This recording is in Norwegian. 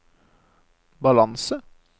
balanse